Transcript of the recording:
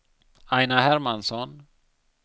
Aina Hermansson